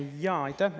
Jaa, aitäh!